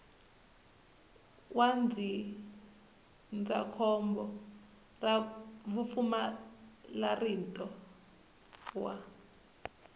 wa ndzindzakhombo ra vupfumalantirho wa